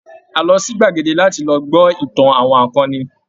A lọ sí gbàdege láti lọ gbọ́ ìtàn àwọn akọni.